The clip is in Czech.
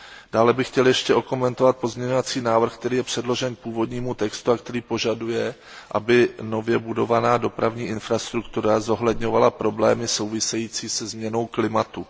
Dále bych chtěl ještě okomentovat pozměňovací návrh, který je předložen k původnímu textu a který požaduje, aby nově budovaná dopravní infrastruktura zohledňovala problémy související se změnou klimatu.